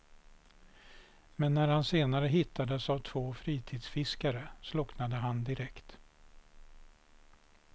Men när han senare hittades av två fritidsfiskare slocknade han direkt.